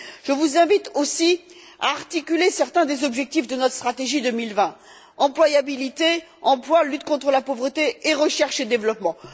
Je vous invite aussi à articuler certains des objectifs de notre stratégie 2020 employabilité, emploi, lutte contre la pauvreté et recherche et développement.